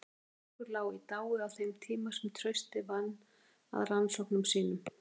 Strokkur lá í dái á þeim tíma sem Trausti vann að rannsóknum sínum.